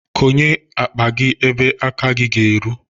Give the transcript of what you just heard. Konye akpa gi ebe aka gi ga-eru.